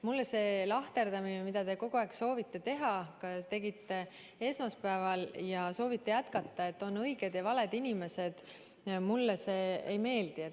Mulle see lahterdamine, mida te kogu aeg soovite teha – te tegite seda esmaspäeval ja soovite jätkata –, et on õiged ja valed inimesed, ei meeldi.